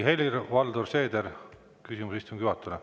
Helir-Valdor Seeder, küsimus istungi juhatajale.